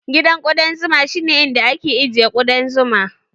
Gidan ƙuɗan zuma shi ne inda ake ajiye ƙuɗan zuma